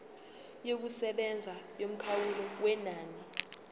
yokusebenza yomkhawulo wenani